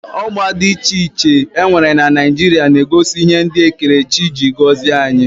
Ọgba dị iche iche e nwere na Naijiria na-egosi ihe ndị ekerechi ji gọzie anyị